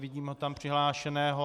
Vidím ho přihlášeného.